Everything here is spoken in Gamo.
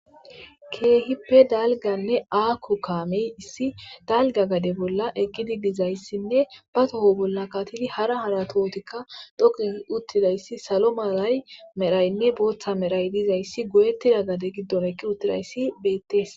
Kehippe dalganne ago kamey issi dalga gade bolla eqidi dizaysinne ba tho bolla mayidi harsh hara tohotika qase dhoqu gidi uttidaysi salo malaymnne botha malay diya gade gidon eqi uttidays beetes.